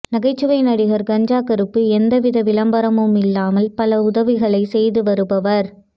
நகைச்சுவை நடிகர் கஞ்சா கருப்பு எந்தவித விளம்பரமும் இல்லாமல் பல உதவிகளை செய்து வருபவர்